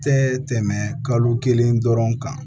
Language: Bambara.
Tɛ tɛmɛ kalo kelen dɔrɔn kan